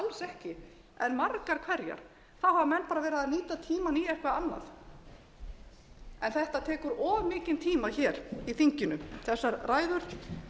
ekki en margar hverjar þá hafa menn verið að nýta tímann í eitthvað annað en þetta tekur of mikinn tíma í þinginu þessar ræður